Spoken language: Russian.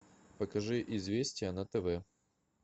покажи известия на тв